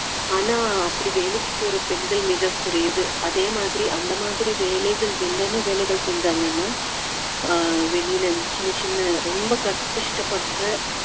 ஆனா அப்படி வேலைக்கு போற பெண்கள் மிகக் குறைவு அதே மாதிரி அந்த மாதிரி வேலைகள் என்னென்ன வேலைகள் செஞ்சாங்கன்னா அஹ் வெளியில இருந்து சின்ன சின்ன ரொம்ப க~ கஷ்டப்படுற